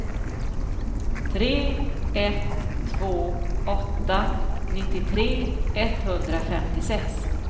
tre ett två åtta nittiotre etthundrafemtiosex